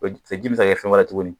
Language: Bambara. ji in bɛ se ka kɛ fɛn wɛrɛ ye tuguni